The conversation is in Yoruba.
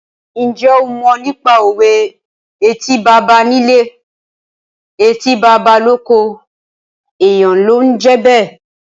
Ǹjẹ́ o mọ nípa òwe "Etí baba nílé, etí baba lóko, èèyàn ló ń jẹ́ bẹ́ẹ̀?"